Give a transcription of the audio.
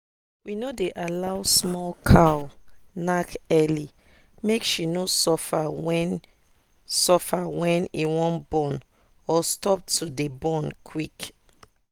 we no dey allow small cow knack early make she no suffer when suffer when e wan born or stop to dey born quick.